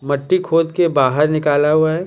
मट्टी खोद के बाहर निकाला हुआ है ।